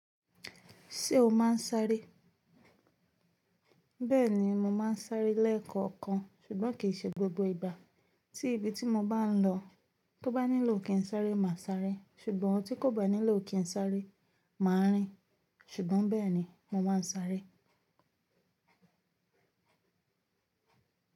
Ṣé o máa ń sáré? Bẹ́ẹ̀ni, mo máa ń sáré lẹ́ẹ̀kọ̀kan ṣùgbọ́n kì í ṣe gbogbo ìgbà. Tí ibi tí mo bá ń lọ, tó bá nílò kí n sáré, máa sáré ṣùgbọ́n tí kò bá nílò kí n sáré, mà á rìn ṣùgbọ́n bẹ́ẹ̀ ni mo máa ń sáré.